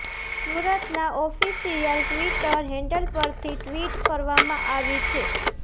સુરતના official Twitter handle પરથી tweet કરવામાં આવી છે